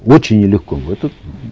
очень нелегко это